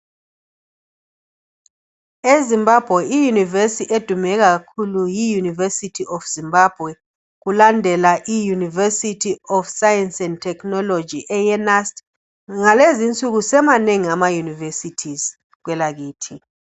EZimbabwe, i- university edume kakhulu, yi-university of Zimbabwe. Kulandela i-university of Science and technology.,Kulezi insuku asemanengi ama -university kwelakithi.